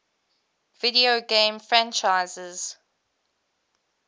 video game franchises